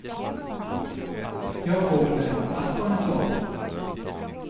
Jag får väl hoppas på en sån.